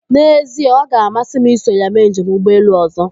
N'ezie ọga amasị m iso ya mee njem ụgbọelu ọzọ.